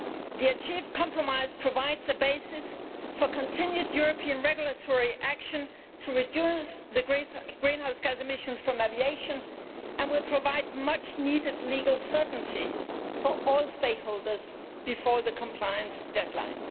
The compromise achieved provides a basis for continued European regulatory action to reduce greenhouse gas emissions from aviation and will provide much needed legal certainty for all stakeholders before the compliance deadline.